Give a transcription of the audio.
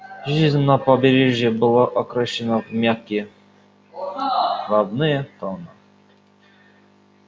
жизнь на побережье была окрашена в мягкие ровные тона